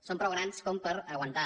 són prou grans per aguantar